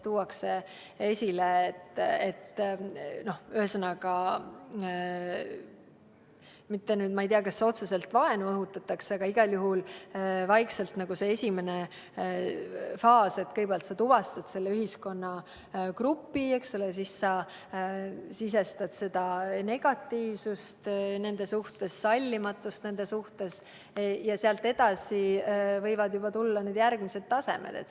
Ühesõnaga, ma ei tea, kas otseselt vaenu õhutatakse, aga igal juhul hakkab vaikselt see esimene faas pihta, et kõigepealt tuvastad selle ühiskonnagrupi, eks ole, siis sisestad nende suhtes negatiivsust ja sallimatust ning sealt edasi võivad tulla juba järgmised tasemed.